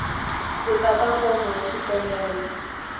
ku tata fomo ya xikombelo